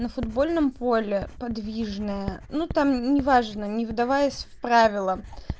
на футбольном поле подвижная ну там неважно не вдаваясь в правила